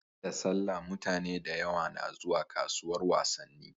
Da sallah mutane da yawa na zuwa kasuwar wasanni